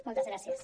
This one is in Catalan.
moltes gràcies